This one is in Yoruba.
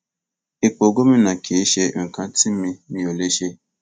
ipò gómìnà kì í ṣe nǹkan tí mi mi ò lè ṣe